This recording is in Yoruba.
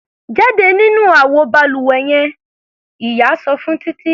Jáde nínú àwo balùwẹ yen! Ìyá sọ fún Títí.